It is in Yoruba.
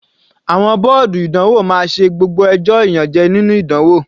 Àwọn bọ́ọ̀dù ìdánwò máa ṣe gbogbo ẹjọ́ ìyànjẹ́ nínú ìdánwò.